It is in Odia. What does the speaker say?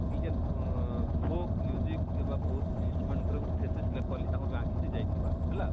ଇଜେନ ପ folk ଇବା folk instrument ଉପରେ ଗୋଟେ ଲେଖବାର ଲାଗି ତାକର ଗାଁ କେ ସେ ଯାଇ ଥିବା ହେଲା,